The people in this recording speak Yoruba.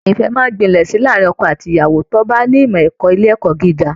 Ìfẹ́ máa ń gbilẹ̀ sí i láàárín ọkọ àti ìyàwó tó bá ní ìmọ̀ ẹ̀kọ́ ilé ẹ̀kọ́ gíga